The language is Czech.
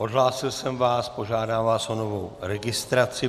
Odhlásil jsem vás, požádám vás o novou registraci.